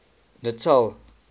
natal